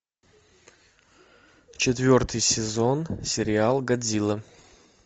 четвертый сезон сериал годзилла